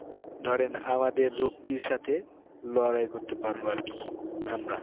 ধরেন আমাদের রোগটির সাথে লড়াই করতে পারবো আর কি আমরা